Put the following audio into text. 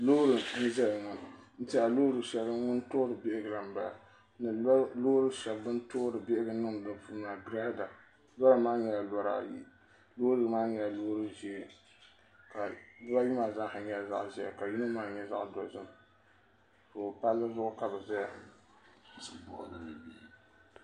Loori n ʒɛya ŋo n tiɛhi loori shɛli din toori bihigu la n bala ni loori shɛli din toori bihigu niŋdi di puuni Girada loori nim maa nyɛla lara ayi bibayi maa zaa nyɛla zaɣ ʒiɛ ka yini maa nyɛ zaɣ dozim so palli zuɣu ka bi ʒɛya